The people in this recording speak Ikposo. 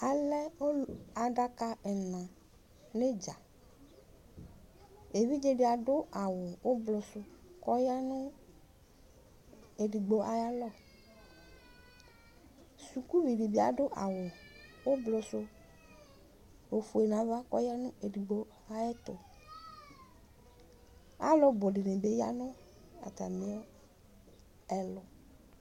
Alɛ adaka ɛna nʋ idza evidze di adʋ awʋ ʋblɔ kʋ ɔya nʋ edigbo ayu alɔ sukuvi dibi adʋ awʋ ʋblɔsʋ efue nʋ ava kʋ ɔya nʋ edigbo ayʋ ɛtʋ alʋbʋ dini bi yanʋ atami ɛlʋ